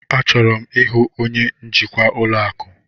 Achọrọ m ịhụ onye njikwa ụlọ akụ.